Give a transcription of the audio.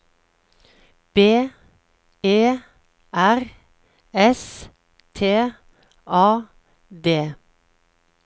B E R S T A D